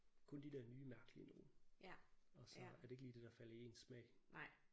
Kun de der nye mærkelige nogle og så er det ikke lige det der falder i ens smag